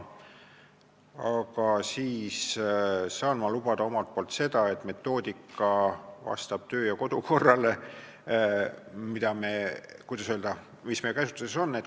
Aga ma saan lubada omalt poolt seda, et metoodika vastab kodu- ja töökorrale, mis meie käsutuses on.